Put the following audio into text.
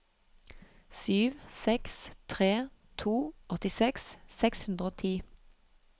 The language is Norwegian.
sju seks tre to åttiseks seks hundre og ti